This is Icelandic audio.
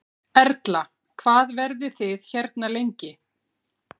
Erla: Hvað verðið þið hérna lengi?